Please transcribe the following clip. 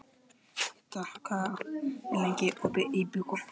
Idda, hvað er lengi opið í Byko?